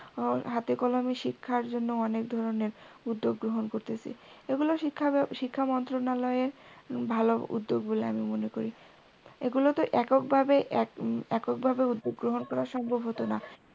আর হাতে কলমে শিক্ষার জন্য অনেক ধরনের উদ্যোগ গ্রহণ করতেসে, এগুলো শিক্ষা শিক্ষাম্ত্রণালয়ের ভালো উদ্যোগ বলে আমি মনে করি এগুলো তো এককভাবে এককভাবেই উদ্যোগ গ্রহণ করা সম্ভব হতো না